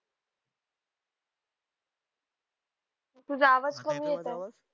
तुझा आवाज कमी येत आहे